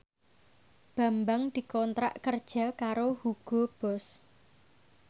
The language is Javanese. Bambang dikontrak kerja karo Hugo Boss